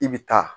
I bɛ taa